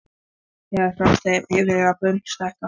Eða sást þeim yfir að börn stækka?